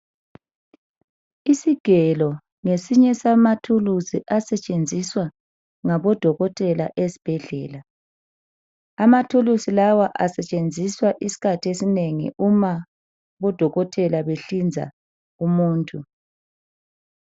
Isigelo ngesinye samathuluzi asetshenziswa ngabodokotela ezibhedlela, amathuluzi lawa asetshenziswa isikhathi esinengi uma udokotela behlinza umuntu.